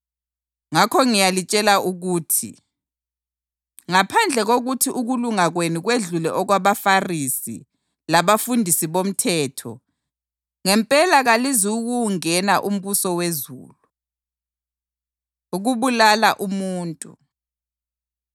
Ngakho ngiyalitshela ukuthi ngaphandle kokuthi ukulunga kwenu kwedlule okwabaFarisi labafundisi bomthetho, ngempela kalizukuwungena umbuso wezulu.” Ukubulala Umuntu